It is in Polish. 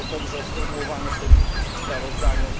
To zostało dobrze sformułowane w tym sprawozdaniu.